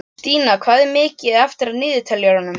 Kristína, hvað er mikið eftir af niðurteljaranum?